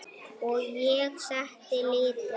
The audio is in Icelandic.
Og ég setti lítið